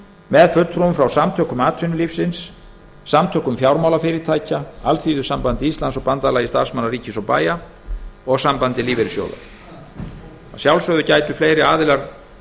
með fulltrúum frá samtökum atvinnulífsins samtökum fjármálafyrirtækja alþýðusambandi íslands bandalagi starfsmanna ríkis og bæja og sambandi lífeyrissjóða að sjálfsögðu gætu fleiri aðilar